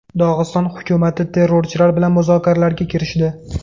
Dog‘iston hukumati terrorchilar bilan muzokaralarga kirishdi.